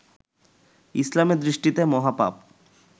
ইসলামের দৃষ্টিতে মহাপাপ